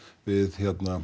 við